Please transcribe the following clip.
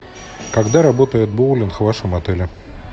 когда работает боулинг в вашем отеле